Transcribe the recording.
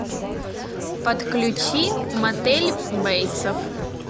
подключи мотель бейтсов